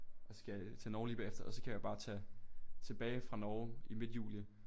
Og så skal jeg til Norge lige bagefter og så kan jeg jo bare tage til tilbage fra Norge i midt juni